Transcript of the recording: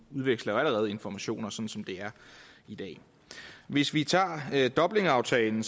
udveksler jo allerede informationer som som det er i dag hvis vi tager dublinaftalen